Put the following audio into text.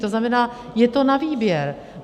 To znamená, je to na výběr.